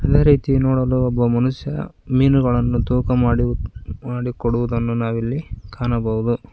ಅದೆ ರೀತಿ ನೋಡಲು ಒಬ್ಬ ಮನುಷ್ಯ ಮೀನುಗಳನ್ನು ತೂಕ ಮಾಡಿ ಮಾಡಿಕೊಡುವುದನ್ನು ನಾವಿಲ್ಲಿ ಕಾಣಬಹುದು.